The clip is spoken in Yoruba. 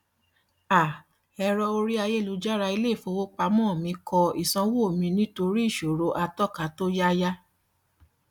um ẹrọ orí ayélujára ilé ifowopamọ kọ ìsanwó mi nítorí ìṣòro àtọka tó yáyà